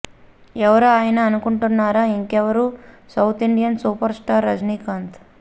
ఎవరా ఆయన అనుకుంటున్నారా ఇంకెవరూ south Indian super star Rajinikanth